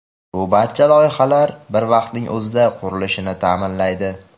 Bu barcha loyihalar bir vaqtning o‘zida qurilishini ta’minlaydi.